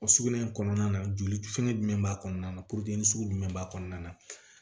O sugunɛ in kɔnɔna na joli fɛngɛ jumɛn b'a kɔnɔna na sugu jumɛn b'a kɔnɔna na